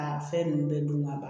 A fɛn ninnu bɛɛ dun ka ban